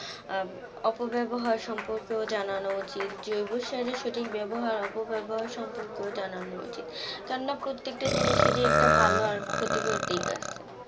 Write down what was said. আহ অপব্যবহার সম্পর্কে ও জানানো উচিত জৈবসারের সঠিক ব্যাবহার অপব্যবহার সম্পর্কেও জানানো উচিত, কেননা প্রত্যেকটা জিনিসেরই একটা ভালো আর ক্ষতিকর দিক আছে